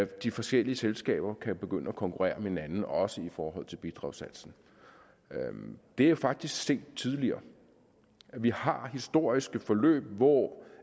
de forskellige selskaber kan begynde at konkurrere med hinanden også i forhold til bidragssatsen det er faktisk set tidligere vi har historiske forløb hvor